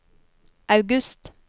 august